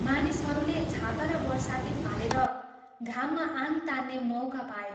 मानिसहरूले छाता र बरसाती फालेर घाममा आङ तान्ने मौका पाए।